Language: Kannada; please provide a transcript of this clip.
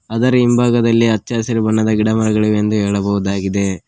ಅದರ ಹಿಂಬಾಗದಲ್ಲಿ ಹಚ್ಚಹಸಿರು ಬಣ್ಣದ ಗಿಡಮರಗಳಿವೆ ಎಂದು ಹೇಳಬಹುದಾಗಿದೆ.